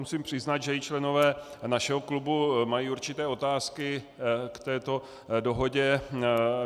Musím přiznat, že i členové našeho klubu mají určité otázky k této dohodě.